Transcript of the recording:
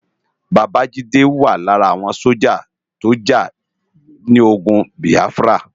Baba Jide wá lárà áwòn sójá tó já ni ógùn Biáfrá